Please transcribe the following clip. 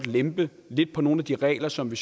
lempe lidt på nogle af de regler som vi